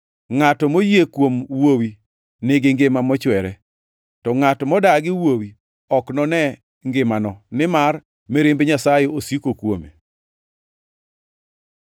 Ngʼato moyie kuom Wuowi nigi ngima mochwere, to ngʼat modagi Wuowi ok none ngimano, nimar mirimb Nyasaye osiko kuome.”